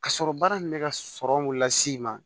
Ka sɔrɔ baara in bɛ ka sɔrɔ mun las'i ma